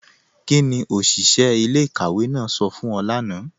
Kíni oṣiṣẹ̀ ilẹ̀-ikàwé náà sọ fún ọ̀ lána?